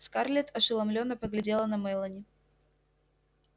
скарлетт ошеломлённо поглядела на мелани